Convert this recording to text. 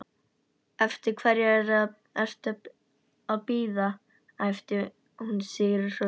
Eftir hverju ertu að bíða? æpti hún sigrihrósandi.